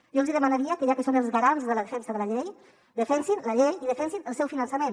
jo els hi demanaria que ja que són els garants de la defensa de la llei defensin la llei i defensin el seu finançament